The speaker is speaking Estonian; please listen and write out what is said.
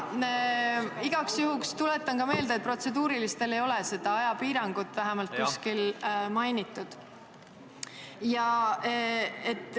Igaks juhuks tuletan meelde, et protseduuriliste küsimuste korral ei ole ajapiirangut kuskil mainitud.